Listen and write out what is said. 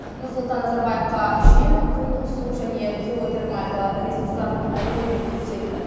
нұрсұлтан назарбаевқа жел күн су және геотермальды ресурстардың әлеуеті көрсетіліп